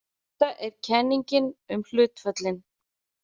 Þetta er kenningin um hlutföllin.